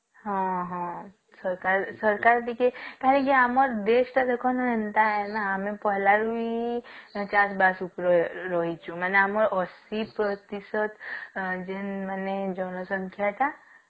ହଁ ହଁ ସରକାର ସରକାର ଟିକେ କାହିଁକି ଆମର ଦେଢ ତଅ ଟିକେ ଏନ୍ତା ନହିଁ ନା ଆମେ ପଲରବୀ ଚାଷ ବାସ ଉପରେ ରହିଛୁ ମାନେ ଆମର ଆସି ପ୍ରତିଶତ ଯେନ ମାନେ ଜନସଂଖ୍ୟା ଟା